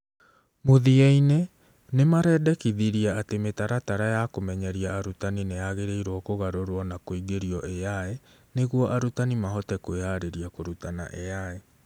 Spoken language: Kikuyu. Mũthia-inĩ, nĩ marendĩkithirie atĩ mĩtaratara ya kũmenyeria arutani nĩ yagĩrĩirwo kũgarũrũo na kũingĩrio AI nĩguo arutani mahote kwĩharĩria kũrutana AI.